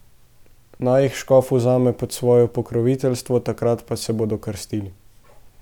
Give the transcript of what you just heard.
Naj jih škof vzame pod svoje pokroviteljstvo, takrat pa se bodo krstili.